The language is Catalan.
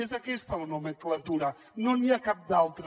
és aquesta la nomenclatura no n’hi ha cap altra